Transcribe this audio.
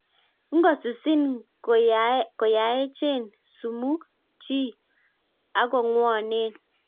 Ngosusiin koyaachen sumuk chiik agongwaneen